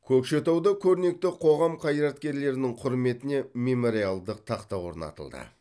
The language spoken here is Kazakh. көкшетауда көрнекті қоғам қайраткерлерінің құрметіне мемориалдық тақта орнатылды